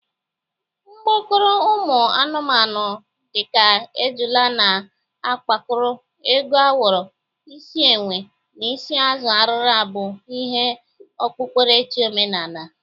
Mkpokoro ụmụ anụmanụ dị ka ejụla na akpakoro, ego awọrọ, isi enwe, na isi azụ arịra bụ ihe okpukperechi omenaala.